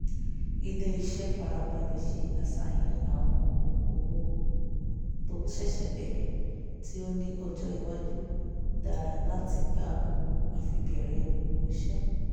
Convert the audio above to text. ilé-iṣẹ́ farabalẹ̀ ṣe àṣàyàn àwọn okòwò tó ṣẹ̀ṣẹ̀ bẹ̀rẹ̀ tí ó ní ọjọ́ iwájú dára láti gba owó àfibẹ̀rẹ̀òwòṣe